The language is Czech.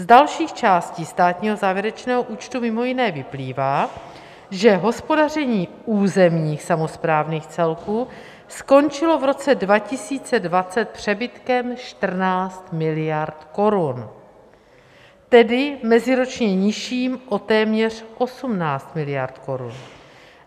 Z dalších částí státního závěrečného účtu mimo jiné vyplývá, že hospodaření územních samosprávných celků skončilo v roce 2020 přebytkem 14 miliard korun, tedy meziročně nižším o téměř 18 miliard korun.